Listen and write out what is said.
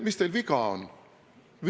Mis teil viga on?